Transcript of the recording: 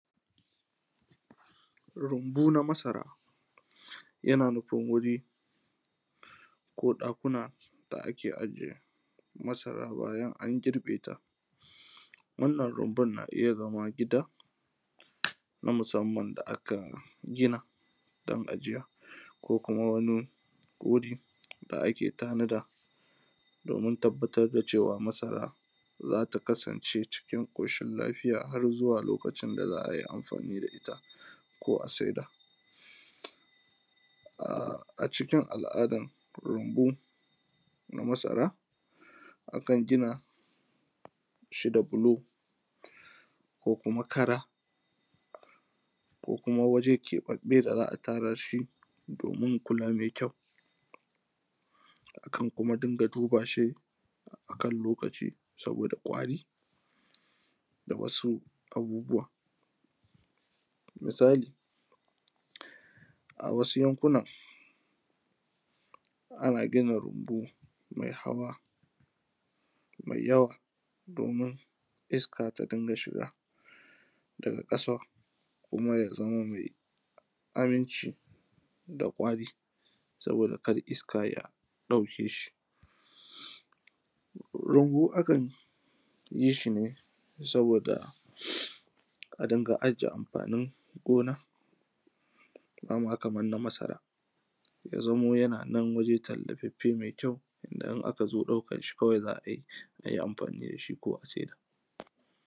Rumbu na masara yana nufin wuri ko ɗakuna da ake ajiye masara bayan an girbe ta. Wannan rumbun na iya zama gida na musamman da aka gina don ajiya, ko kuma wani wuri da ake tanada domin tabbatar da cewa masara zata kasance cikin ƙoshin lafiya, har zuwa lokacin da za a yi amfani da ita ko a saida. A cikin al’adar rumbu akan gina shi da bulo, ko kuma kara, ko kuma waje keɓaɓɓe da za a tara shi domin kula mai kyau. Akan kuma rinƙa duba shi a kan lokaci saboda ƙwari da wasu abubuwa. Misali, a wasu yankunan ana gina rumbu mai hawa mai yawa domin iska ta rinƙa shiga, daga ƙasa kuma ya zama mai aminci da ƙwari saboda kar iska ya ɗauke shi. Rumbu akan yi shi ne saboda a dinga aje amfanin gona, ba ma kamar na masara ya zamo yana nan a waje tallafaffe mai kyau, inda in aka zo ɗaukar shi kawai za a yi, a yi amfani da shi ko a saida.